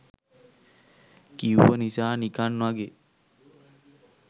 කිව්ව නිසා නිකන් වගෙ